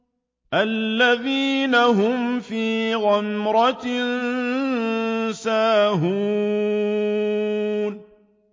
الَّذِينَ هُمْ فِي غَمْرَةٍ سَاهُونَ